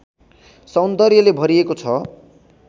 सौन्दर्यले भरिएको छ